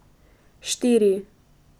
Štiri!